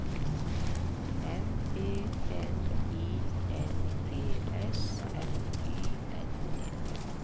M E N I N G S F Y L T